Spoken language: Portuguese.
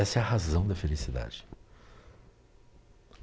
Essa é a razão da felicidade.